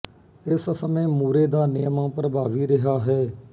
ਇਸ ਸਮੇਂ ਮੂਰੇ ਦਾ ਨਿਯਮ ਪ੍ਰਭਾਵੀ ਰਿਹਾ ਹੈ